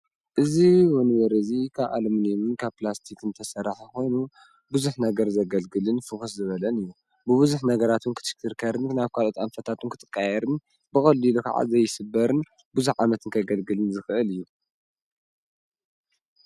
እዚ ወንበር እዚ ካብ ኣሉምንየምን ካብ ፕላስቲክን ዝተሰርሐ ኮይኑ ቡዙሕ ነገር ዘገልግልን ፍኩስ ዝበለን እዩ ብቡዙሕ ነገራት ክትሽክርከርን ናብ ካልኦት ኣንፈታት ዉን ክቀያየርን ብቀሊሉ ከዓ ዘይስበርን ቡዙሕ ዓመት ከገልግልን ዝክእል እዩ።